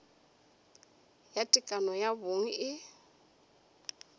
ya tekano ya bong e